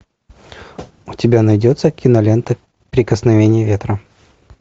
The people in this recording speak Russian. у тебя найдется кинолента прикосновение ветра